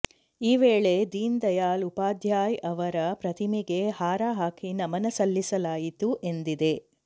ಈ ವೇಳೆ ದೀನ್ ದಯಾಳ್ ಉಪಾಧ್ಯಾಯ್ ಅವರ ಪ್ರತಿಮೆಗೆ ಹಾರ ಹಾಕಿ ನಮನ ಸಲ್ಲಿಸಲಾಯಿತು ಎಂದಿದೆ